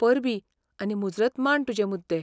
परबीं आनी मुजरत मांड तुजे मुद्दे.